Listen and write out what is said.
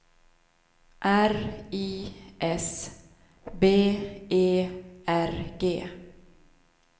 R I S B E R G